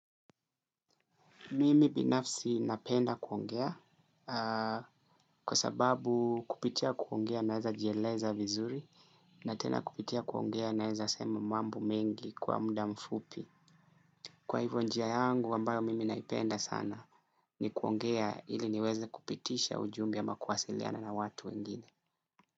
Mimi binafsi napenda kuongea kwa sababu kupitia kuongea naeza jieleza vizuri na tena kupitia kuongea naeza sema mambo mengi kwa muda mfupi. Kwa hivyo njia yangu ambayo mimi naipenda sana ni kuongea ili niweze kupitisha ujumbe ama kuwasiliana na watu wengine.